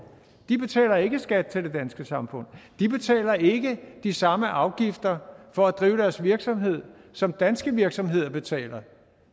de betaler ikke skat til det danske samfund de betaler ikke de samme afgifter for at drive deres virksomhed som danske virksomheder betaler